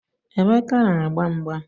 Emeka na-agba mgba.